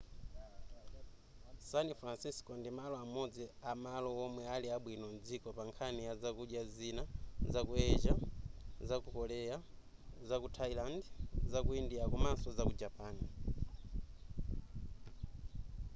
san francisco ndi malo amodzi amalo omwe ali abwino mdziko pa nkhani ya zakudya zina zaku asia zaku korea zaku thailand zaku india komaso zaku japan